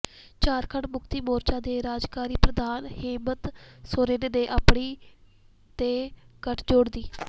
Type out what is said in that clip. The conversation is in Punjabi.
ਝਾਰਖੰਡ ਮੁਕਤੀ ਮੋਰਚਾ ਦੇ ਕਾਰਜਕਾਰੀ ਪ੍ਰਧਾਨ ਹੇਮੰਤ ਸੋਰੇਨ ਨੇ ਆਪਣੀ ਤੇ ਗੱਠਜੋੜ ਦੀ